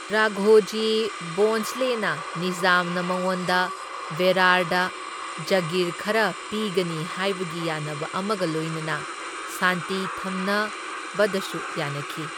ꯔꯥꯘꯣꯖꯤ ꯚꯣꯟꯁꯂꯦꯅ ꯅꯤꯖꯥꯝꯅ ꯃꯉꯣꯟꯗ ꯕꯦꯔꯥꯔꯗ ꯖꯥꯒꯤꯔ ꯈꯔ ꯄꯤꯒꯅꯤ ꯍꯥꯏꯕꯒꯤ ꯌꯥꯅꯕ ꯑꯃꯒ ꯂꯣꯏꯅꯅ ꯁꯥꯟꯇꯤ ꯊꯝꯅꯕꯗꯁꯨ ꯌꯥꯅꯈꯤ꯫